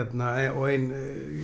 og ein